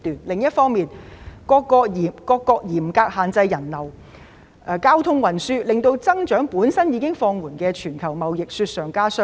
另一方面，各國嚴格限制人流和交通運輸，令增長已經放緩的全球貿易雪上加霜。